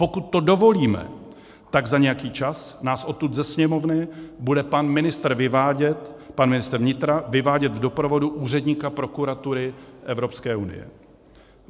Pokud to dovolíme, tak za nějaký čas nás odtud ze Sněmovny bude pan ministr vnitra vyvádět v doprovodu úředníka prokuratury Evropské unie.